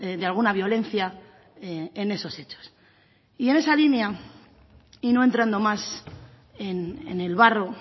de alguna violencia en esos hechos y en esa línea y no entrando más en el barro